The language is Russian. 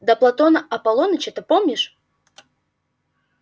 да платона аполлоныча-то помнишь